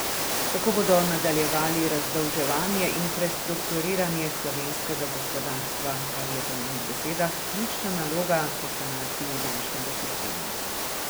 Tako bodo nadaljevali razdolževanje in prestrukturiranje slovenskega gospodarstva, kar je po njenih besedah ključna naloga po sanaciji bančnega sistema.